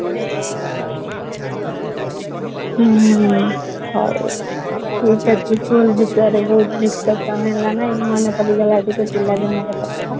ହୁଁ, ହଉ school ବିଷୟରେ ବହୁତ discussion ହେଲାଣି ମାନେ ପଡିଯାଉ ଆଉ ଟିକେ ପିଲା ଦିନ ର କଥା